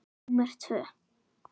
númer tvö.